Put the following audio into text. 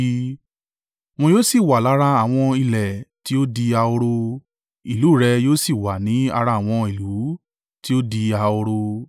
Wọn yóò sì wà lára àwọn ilẹ̀ tí ó di ahoro, ìlú rẹ yóò sì wà ní ara àwọn ìlú tí ó di ahoro.